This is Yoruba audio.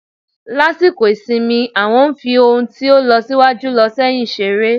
lasikọ isimí, awọn fi n ohún to n losiwajú- loséyin seré